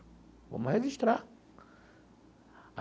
Vamos registrar.